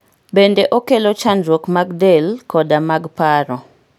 bende okelo chandruok mag del koda mag paro